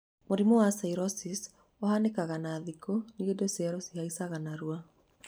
Mũrimũ-inĩ wa psoariasis, ũhanĩkaga na thikũ nĩundũ cello cihaicaga narua.